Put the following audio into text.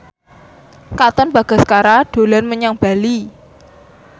Katon Bagaskara dolan menyang Bali